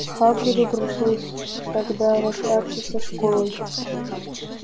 хагриду пришлось тогда расстаться со школой